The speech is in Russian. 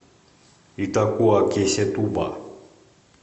итакуакесетуба